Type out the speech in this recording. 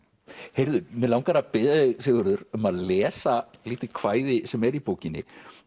heyrðu mig langar að biðja þig Sigurður um að lesa lítið kvæði sem er í bókinni